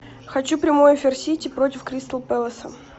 хочу прямой эфир сити против кристал пэласа